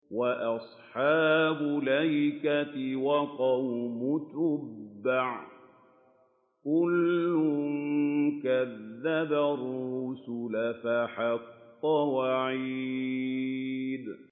وَأَصْحَابُ الْأَيْكَةِ وَقَوْمُ تُبَّعٍ ۚ كُلٌّ كَذَّبَ الرُّسُلَ فَحَقَّ وَعِيدِ